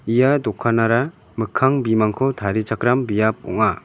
ia dokanara mikkang bimangko tarichakram biap ong·a.